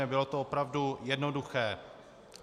Nebylo to opravdu jednoduché.